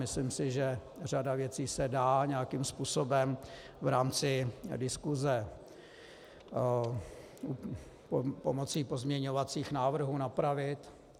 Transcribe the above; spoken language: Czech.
Myslím si, že řada věcí se dá nějakým způsobem v rámci diskuse pomocí pozměňovacích návrhů napravit.